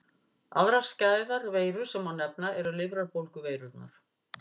Aðrar skæðar veirur sem má nefna eru lifrarbólguveirurnar.